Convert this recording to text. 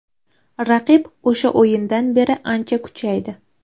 Raqib o‘sha o‘yindan beri ancha kuchaydi.